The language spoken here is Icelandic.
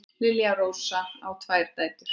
Lilja Rósa á tvær dætur.